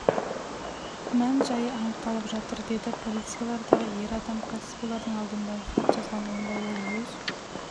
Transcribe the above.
мән-жайы анықталып жатыр деді полициядағылар ер адам қайтыс болардың алдында хат жазған онда ол өз